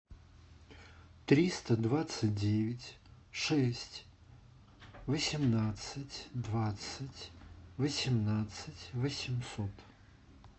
триста двадцать девять шесть восемнадцать двадцать восемнадцать восемьсот